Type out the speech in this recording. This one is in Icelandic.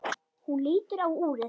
Hún lítur á úrið.